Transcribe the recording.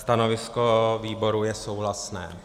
Stanovisko výboru je souhlasné.